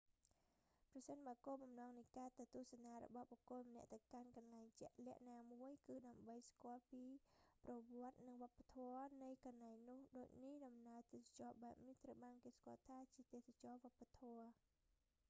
ប្រសិនបើគោលបំណងនៃការទៅទស្សនារបស់បុគ្គលម្នាក់ទៅកាន់កន្លែងជាក់លាក់ណាមួយ គឺដើម្បីស្គាល់អំពីប្រវត្តិសាស្រ្តនិងវប្បធម៌នៃ កន្លែងនោះ ដូចនេះ ដំណើរទេសចរណ៍បែបនេះ ត្រូវបានគេស្គាល់ថាជា ទេសចរណ៍វប្បធម៌